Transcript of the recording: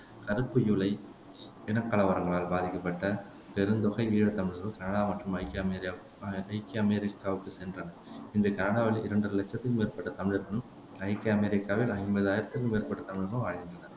கறுப்பு யூலை இனக்கலவரங்களால் பாதிக்கப்பட்ட பெருந்தொகை ஈழத்தமிழர்கள் கனடா மற்றும் ஐக்கிய அமேரியாவு அஹ் ஐக்கிய அமெரிக்காவுக்குச் சென்றனர் இன்று கனடாவில் இரண்டரை இலட்சத்திற்கும் மேற்பட்ட தமிழர்களும் ஐக்கிய அமெரிக்காவில் ஐம்பதாயிரத்திற்கும் மேற்பட்ட தமிழர்கள் வாழ்கின்றனர்